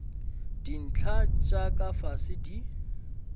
dintlha tša ka fase di